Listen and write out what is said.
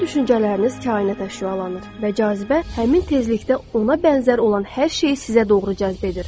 Sizin düşüncələriniz kainata şüalanır və cazibə həmin tezlikdə ona bənzər olan hər şeyi sizə doğru cəzb edir.